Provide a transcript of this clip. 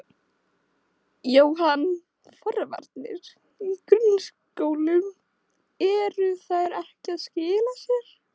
Jóhann: Forvarnir í grunnskólum, eru þær ekki að skila sér?